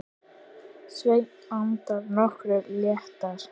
Svenni andað nokkru léttar.